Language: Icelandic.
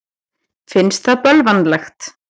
Finnst það bölvanlegt.